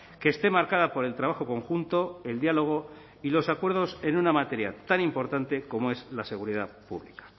que esté marcada por el trabajo conjunto el diálogo y los acuerdos en una materia tan importante como es la seguridad pública